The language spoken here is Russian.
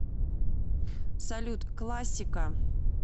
салют классика